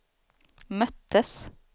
möttes